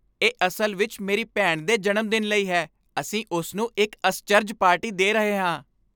ਇਹ ਅਸਲ ਵਿੱਚ ਮੇਰੀ ਭੈਣ ਦੇ ਜਨਮ ਦਿਨ ਲਈ ਹੈ। ਅਸੀਂ ਉਸ ਨੂੰ ਇੱਕ ਅਸਚਰਜ ਪਾਰਟੀ ਦੇ ਰਹੇ ਹਾਂ।